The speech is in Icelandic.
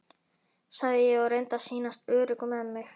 sagði ég og reyndi að sýnast örugg með mig.